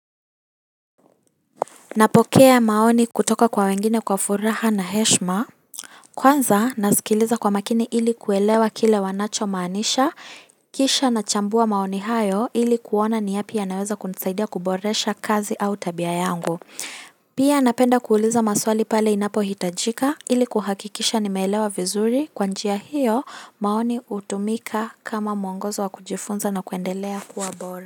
Napokea maoni kutoka kwa wengine kwa furaha na heshima kwanza nasikiliza kwa makini ili kuelewa kile wanacho maanisha kisha nachambua maoni hayo ili kuona ni yapi yanaweza kunisaidia kuboresha kazi au tabia yangu pia napenda kuuliza maswali pale inapohitajika ili kuhakikisha nimeelewa vizuri kwa njia hiyo maoni hutumika kama mwongozo wa kujifunza na kuendelea kuwa bora.